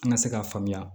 An ka se k'a faamuya